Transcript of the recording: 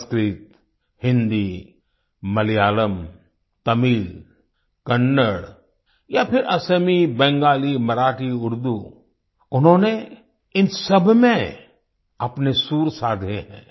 संस्कृत हिंदी मलयालम तमिल कन्नड़ या फिर असमी बंगाली मराठी उर्दू उन्होंने इन सबमें अपने सुर साधे हैं